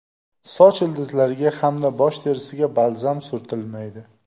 Soch ildizlariga hamda bosh terisiga balzam surtilmaydi.